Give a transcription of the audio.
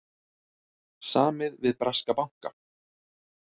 Samið við breska banka